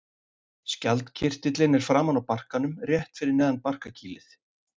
Skjaldkirtillinn er framan á barkanum rétt fyrir neðan barkakýlið.